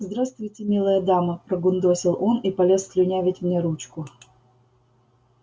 здравствуйте милая дама прогундосил он и полез слюнявить мне ручку